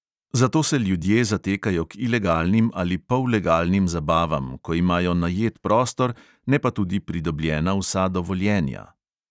Zato se ljudje zatekajo k ilegalnim ali pollegalnim zabavam, ko imajo najet prostor, ne pa tudi pridobljena vsa dovoljenja.